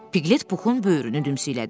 Piqlet Puxun böyrünü dümsüklədi.